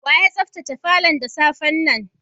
Wa ya sabtace falon da safe'n nan?